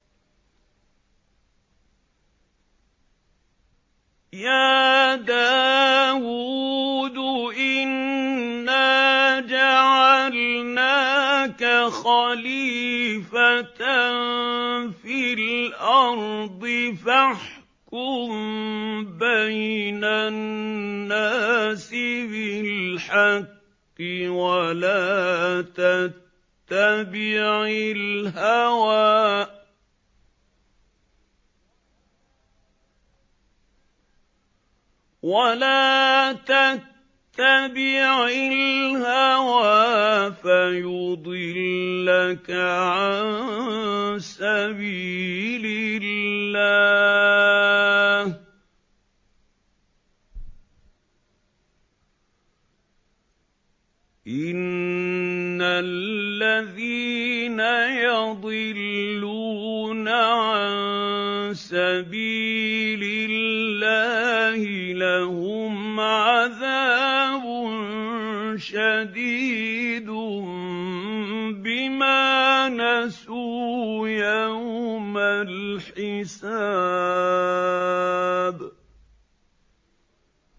يَا دَاوُودُ إِنَّا جَعَلْنَاكَ خَلِيفَةً فِي الْأَرْضِ فَاحْكُم بَيْنَ النَّاسِ بِالْحَقِّ وَلَا تَتَّبِعِ الْهَوَىٰ فَيُضِلَّكَ عَن سَبِيلِ اللَّهِ ۚ إِنَّ الَّذِينَ يَضِلُّونَ عَن سَبِيلِ اللَّهِ لَهُمْ عَذَابٌ شَدِيدٌ بِمَا نَسُوا يَوْمَ الْحِسَابِ